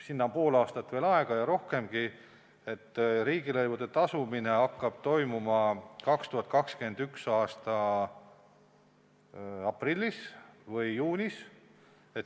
Sinna on pool aastat ja rohkemgi aega, nende riigilõivude tasumine toimuks 2021. aasta aprillis või juunis.